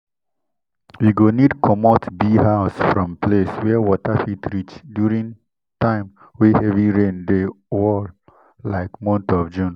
you go need commot bee house from place where water fit reach during time way heavy rain dey wall like month of june.